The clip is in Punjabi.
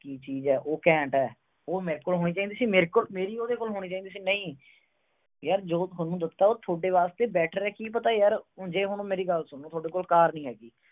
ਕੀ ਚੀਜ ਆ, ਉਹ ਘੈਂਟ ਆ। ਉਹ ਮੇਰੇ ਕੋਲ ਹੋਣੀ ਚਾਹੀਦੀ ਸੀ, ਮੇਰੀ ਉਹਦੇ ਕੋਲ ਹੋਣੀ ਚਾਹੀਦੀ ਸੀ। ਯਾਰ ਜੋ ਥੋਨੂੰ ਦਿੱਤਾ, ਉਹ ਤੁਹਾਡੇ ਵਾਸਤੇ better ਆ, ਕੀ ਪਤਾ, ਮੇਰੀ ਗੱਲ ਸੁਣੋ, ਤੁਹਾਡੇ ਕੋਲ ਕਾਰ ਨੀ ਹੈਗੀ।